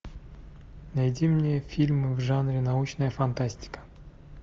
найди мне фильмы в жанре научная фантастика